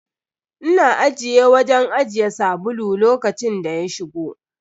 Ina ajiye wajen ajiye sabulu lokacin da ya shigo.